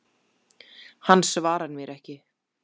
Hann svarar mér ekki.